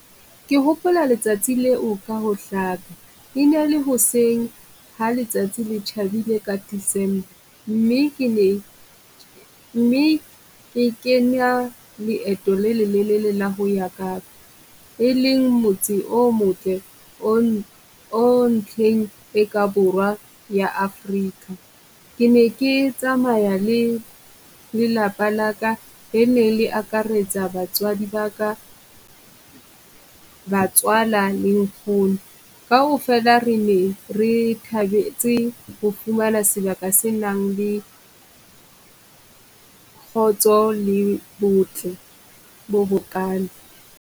Ke hopola letsatsi leo ka ho hlaka, e ne le hoseng ha letsatsi le tjhabile ka December mme ke ne, mme ke kenya leeto le lelelele la ho ya Kapa. E leng motse o motle o ng o ntlheng e ka Borwa ya Afrika. Ke ne ke tsamaya le lelapa la ka e ne le akaretsa batswadi baka. Batswala le nkgono kaofela re ne re thabetse ho fumana sebaka se nang le kgotso le botle bo bokana.